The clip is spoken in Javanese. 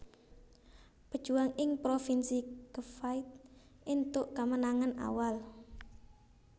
Pejuwang ing provinsi Cavite éntuk kamenangan awal